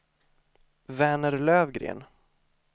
Verner Lövgren